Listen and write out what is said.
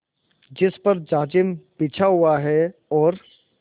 जिस पर जाजिम बिछा हुआ है और